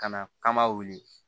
Ka na k'an ba wuli